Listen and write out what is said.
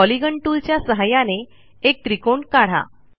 polygon टूलच्या सहाय्याने एक त्रिकोण काढा